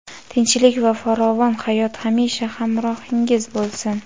tinchlik va farovon hayot hamisha hamrohingiz bo‘lsin!.